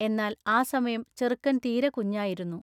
എന്നാൽ ആ സമയം ചെറുക്കൻ തീരെ കുഞ്ഞായിരുന്നു.